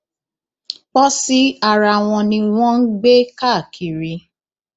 pọsí ara wọn ni wọn ń gbé káàkiri